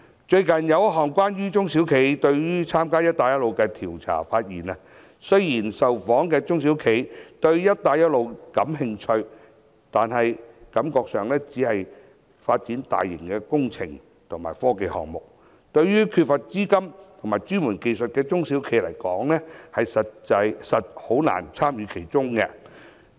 最近有一項關於中小企對於參加"一帶一路"的調查，發現雖然受訪的中小企對於"一帶一路"感興趣，但感覺上涉及的都是大型的工程和科技項目，對於缺乏資金和專門技術的中小企來說，實在難以參與其中。